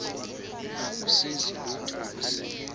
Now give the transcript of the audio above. akusizi lutho ukusengela